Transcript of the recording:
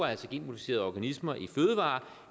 altså genmodificerede organismer